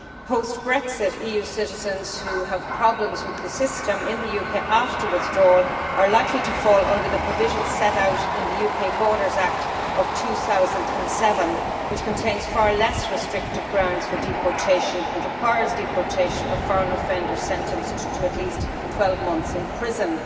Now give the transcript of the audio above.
Post Brexit, EU citizens who have problems with the system in the UK after withdrawal are likely to fall under the provisions set out in the UK Borders Act of 2007, which contains far less restrictive grounds for deportation and requires deportation of foreign offenders sentenced to at least 12 months in prison.